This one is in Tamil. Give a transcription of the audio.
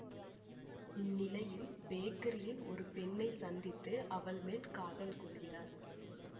இந்நிலையில் பேக்கரியில் ஒரு பெண்ணை சந்தித்து அவள் மேல் காதல் கொள்கிறார்